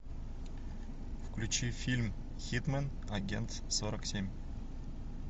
включи фильм хитмэн агент сорок семь